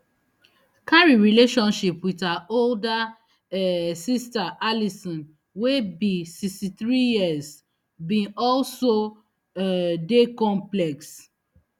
carey relationship wit her older um sister alison wey be sixty-three years bin also um dey complex